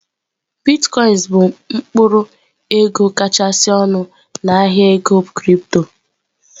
Bitkoinsị bụ mkpụrụ ego kachasị ọnụ na ahịa ego kịrịpto.